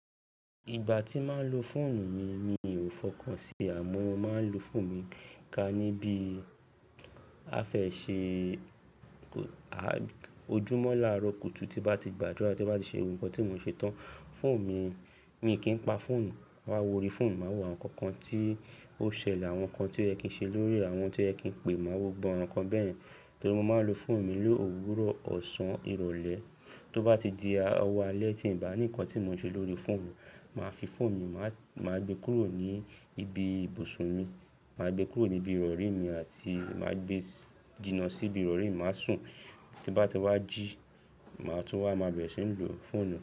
Ìgbà tí màá n lo fóònù mi, mi ò fọkàn sí i, àmọ́ mo màá n lo fóònù mi ká níbí. A fẹ́ ṣe ojúmọ́ láaro kùtù tí bá ti gbàdúrà tí bá ti ṣe gbogbo nkan tí mò ń ṣe tán. Fóònù mi, mi kì í pa fóònù, máa wó orí fóònù, máa wò àwọn nǹkan kan tí ó ṣẹlẹ̀, àwọn kan ti o yẹ kìí ṣe lóri e, àwọn tí o ye ki n pé, màá wò gbogbo àwọn nǹkan bẹ́ẹ̀yen. Torí mo màá lo fóònù mi ló òwúrọ̀, ọ̀sán, ìrọ̀lẹ́, tó bá ti di ọwọ́ alẹ́ tí ì bá ní nǹkan tí mò ń ṣe lórí fóònù, màá fi fóònù mi, màá gbé e kúrò ní ibi ibùsùn mi, màá gbé e kúrò ní ibi ìrọ̀rí mi àti màá gbé e jìnà sí ibi ìrọ̀rí mi, màá sùn, tí bá ti wá jí, màá tún wá màá bẹ̀rẹ̀ síi lò fóònù.